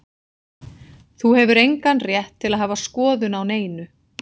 Þú hefur engan rétt til að hafa skoðun á neinu.